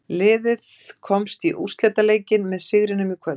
Liðið komst í úrslitaleikinn með sigrinum í kvöld.